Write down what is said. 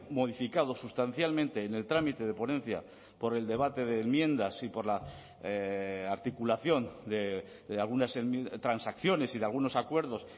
modificado sustancialmente en el trámite de ponencia por el debate de enmiendas y por la articulación de algunas transacciones y de algunos acuerdos